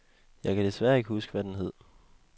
Jeg kan desværre ikke huske, hvad den hed.